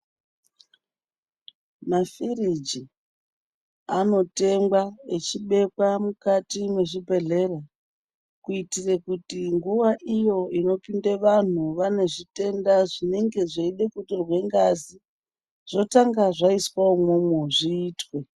Mafiriji anotengwa echibekwa mukati muzvibhedleya kuitire kuti nguva iyo inopinde vanhu vane zvitenda zvinenge zveide kutorwa ngazi zvotanga zvaiswe imomo zviitwe.